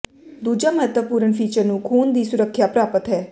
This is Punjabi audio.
ਦੂਜਾ ਮਹੱਤਵਪੂਰਨ ਫੀਚਰ ਨੂੰ ਖੂਨ ਦੀ ਸੁਰੱਖਿਆ ਪ੍ਰਾਪਤ ਹੈ